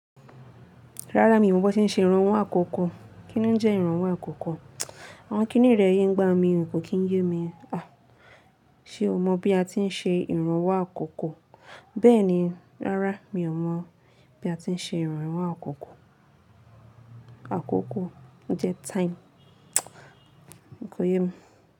Rárá mi ò mọ bí wọ́n ti ń ṣe ìrànwọ́ àkọ́kọ́. Kí ni ó jẹ́ ìrànwọ́ àkọ́kọ́? Àwọn kí nírẹ̀ẹ́ yí ń gba mi wù, kò kí ń yé mi. À, ṣe o mọ̀ bí a ti ń ṣe ìrànwọ́ àkọ́kọ́? Bẹ́ẹ̀ni, rárá mi ò mọ̀ bí a ti ń ṣe ìrànwọ́ àkọ́kọ́. Àkọ̀kọ́ o jẹ́ time. Kò yé mi.